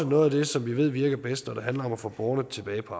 noget af det som vi ved virker bedst når det handler om at få borgerne tilbage på